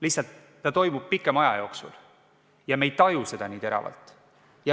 Lihtsalt see toimub pikema aja jooksul ja me ei taju seda nii teravalt.